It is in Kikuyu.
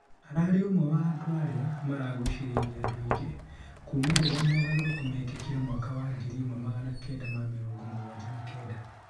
ararĩ ũmwe wa andũ aria maragũcĩrĩirie andũ aingĩ kuma rĩrĩa mogarũrũku mekĩkire, mwaka wa ngiri ĩmwe magana Kenda ma mĩrongo mũgwanja na Kenda.